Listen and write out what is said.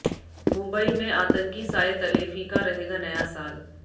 मुबई में आतंकी साये तले फीका रहेगा नया साल